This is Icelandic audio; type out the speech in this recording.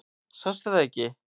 Sástu það ekki?